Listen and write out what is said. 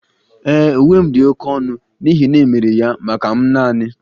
Ee, Uwe m dị oké ọnụ n'ihi na e mere ya maka m naani